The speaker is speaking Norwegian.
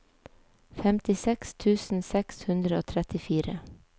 femtiseks tusen seks hundre og trettifire